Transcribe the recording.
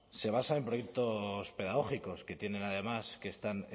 se basan en proyectos pedagógicos que tienen además que están